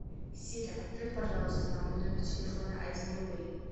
сири отправь пожалуйста на мой номер телефона один рубль